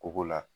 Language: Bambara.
Koko la